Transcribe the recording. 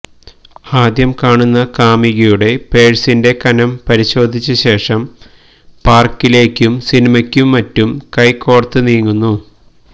ആദ്യം കാണുന്ന കാമുകിയുടെ പേഴ്സിന്റെ കനം പരിശോധിച്ചശേഷം പാർക്കിലേക്കും സിനിമയ്ക്കും മറ്റും കൈകോർത്ത് നീങ്ങുന്നു